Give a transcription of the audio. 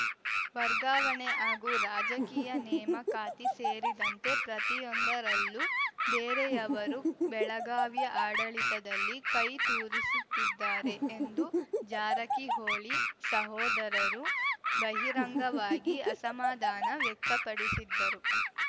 ವರ್ಗಾವಣೆ ಹಾಗೂ ರಾಜಕೀಯ ನೇಮಕಾತಿ ಸೇರಿದಂತೆ ಪ್ರತಿಯೊಂದರಲ್ಲೂ ಬೇರೆಯವರು ಬೆಳಗಾವಿಯ ಆಡಳಿತದಲ್ಲಿ ಕೈ ತೂರಿಸುತ್ತಿದ್ದಾರೆ ಎಂದು ಜಾರಕಿಹೊಳಿ ಸಹೋದರರು ಬಹಿರಂಗವಾಗಿ ಅಸಮಾಧಾನ ವ್ಯಕ್ತಪಡಿಸಿದ್ದರು